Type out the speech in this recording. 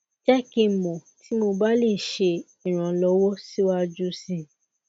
jẹ ki n mọ ti mo ba le ṣe iranlọwọ siwaju sii